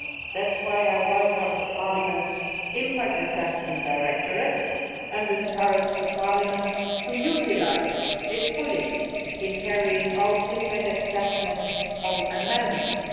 That is why I welcome the creation of Parliament's Impact Assessment Directorate and encourage Parliament to utilise it fully in carrying out impact assessments on amendments.